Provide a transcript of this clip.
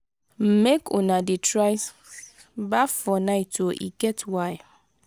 make una dey try baff for night o e get why.